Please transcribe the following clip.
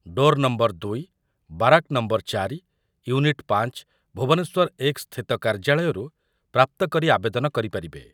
Door number ଦୁଇ, barrack number ଚାରି, unit ପାଞ୍ଚ, ଭୁବନେଶ୍ୱର ଏକ ସ୍ଥିତ କାର୍ଯ୍ୟାଳୟରୁ ପ୍ରାପ୍ତ କରି ଆବେଦନ କରିପାରିବେ ।